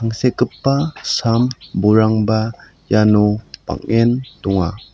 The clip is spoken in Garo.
angsekgipa sam bolrangba iano bang·en donga.